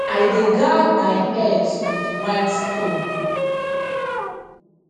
i dey guard my herbs with white stone